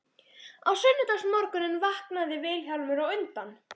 Á sunnudagsmorgninum vaknaði Vilhjálmur á undan